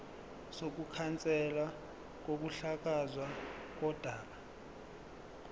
sokukhanselwa kokuhlakazwa kodaba